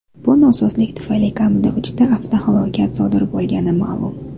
Bu nosozlik tufayli kamida uchta avtohalokat sodir bo‘lgani ma’lum.